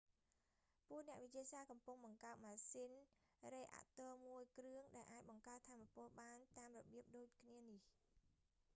ពួកអ្នកវិទ្យាសាស្ត្រកំពុងបង្កើតម៉ាស៊ីនរេអាក់ទ័រមួយគ្រឿង ដែលអាចបង្កើតថាមពលបានតាមរបៀបដូចគ្នានេះ